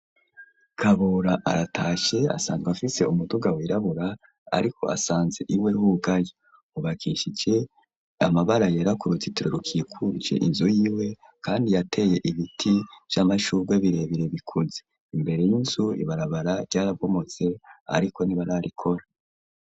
Kabura aratashe asanzwe afise umuduga wirabura ariko asanze iwe hugaye hubakishike amabara yera yuruzitiro rikikujwe inzu y'iwe kandi yateye ibiti vy'amashugwe birebire bikuze, imbere y'inzu ibarabara ryarabomotse ariko ntibararikora.